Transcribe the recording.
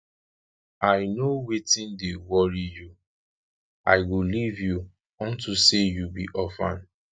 i know wetin dey worry you i go leave you unto say you be orphan